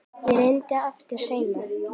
Ég reyni aftur seinna